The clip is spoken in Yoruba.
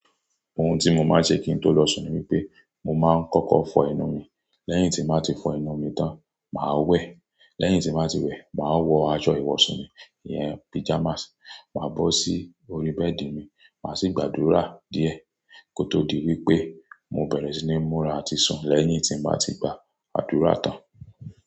Ohun tí mo máa ń ṣe kí n tó lọ sùn ni pé mo máa ń kọ́kọ́ fọ ẹnu mi. Lẹ́yìn tí mo bá ti fọ ẹnu mi tán, màá wẹ̀. Lẹ́yìn tí bàá ti wẹ̀, màá wọ aṣọ ìwọ̀sù mi, ìyẹn pyjamas, màá bọ́ sí orí bẹ́ẹ̀dì mi, màá sì gbàdúrà díẹ̀ kó tó di wípé mo bẹ̀rẹ̀ sí ní múra àti sùn lẹ́yìn tí mo bá ti gbà adúrà tán.